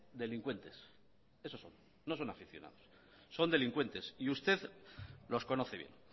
delincuentes eso son no son aficionados son delincuentes y usted los conoce bien